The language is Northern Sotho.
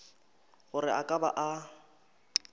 gore a ka ba a